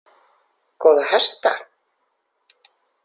Góða hesta!